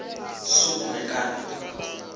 soekmekara